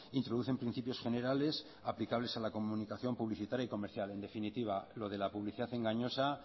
introducen principios generales aplicables a la comunicación publicitaria y comercia en definitiva lo de la publicidad engañosa